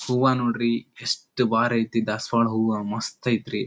ಹೂವ ನೋಡ್ರಿ ಎಸ್ಟ್ ಭಾರ್ ಐತೆ ದಾಸವಾಳ ಹೂವ ಮಸ್ತ್ ಐತ್ರಿ.